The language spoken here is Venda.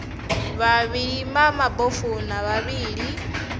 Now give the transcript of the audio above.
vhavhali vha mabofu na vhavhali